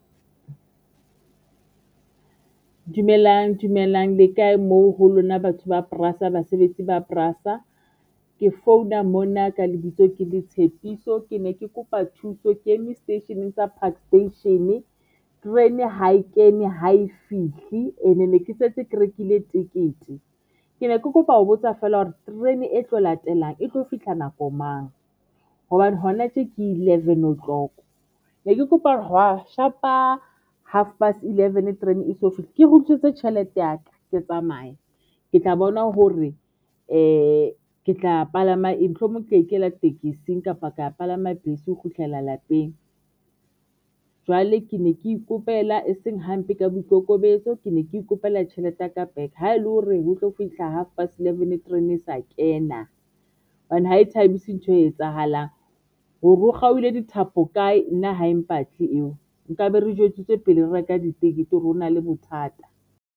Dumelang dumelang le kae moo ho lona batho ba basebetsi ba ke founa mona ka lebitso, ke le Tshepiso ke ne ke kopa thuso ke eme seteisheneng sa Park Station terene ha e kene ha e fihle and ne ke setse ke rekile tekete ke ne ke kopa ho botsa feela hore terene e tlo latelang e tlo fihla nako mang hobane hona tje ke eleven o'clock ne ke kopa hwa shapa, half past eleven terene e eso fihle. Ke tjhelete ya ka, ke tsamaya ke tla bona hore ke tla palama eng, mohlomong ka ikela tekesing kapa ka palama bese ho kgutlela lapeng jwale ke ne ke ikopela eseng hampe ka boikokobetso, ke ne ke ikopela tjhelete ya ka back, ha ele hore ho tlo fihla half past eleven terene e sa kena hobane ha e thabise ntho e etsahalang hore hore ho kgaohile dithapo kae nna ha empatle eo nkabe re jwetsitswe pele re reka ditekete hore ho na le bothata.